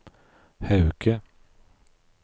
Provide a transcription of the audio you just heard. Hauge